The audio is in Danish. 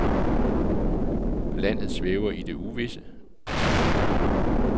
Landet svæver i det uvisse.